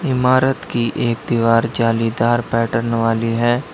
इमारत की एक दीवार जालीदार पैटर्न वाली है।